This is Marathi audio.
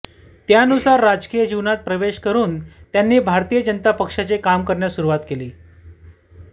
त्यानुसार राजकीय जीवनात प्रवेश करुन त्यांनी भारतीय जनता पक्षाचे काम करण्यास सुरुवात केली